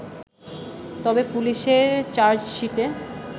তবে পুলিশের চার্জশিটে